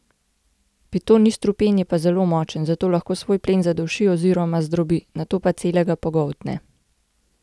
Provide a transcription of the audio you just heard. Piton ni strupen, je pa zelo močen, zato lahko svoj plen zaduši oziroma zdrobi, nato pa celega pogoltne.